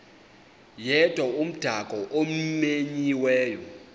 yedwa umdaka omenyiweyo